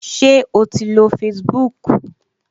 Ṣé o ti lo Facebook?